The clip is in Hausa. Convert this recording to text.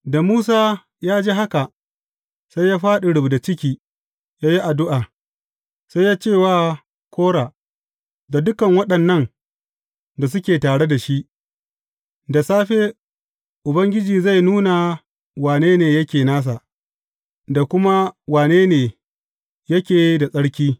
Da Musa ya ji haka, sai ya fāɗi rubda ciki ya yi addu’a Sai ya ce wa Kora da dukan waɗannan da suke tare shi, Da safe, Ubangiji zai nuna wane ne yake nasa, da kuma wane ne yake da tsarki.